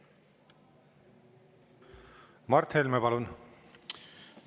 Mart Helme, palun!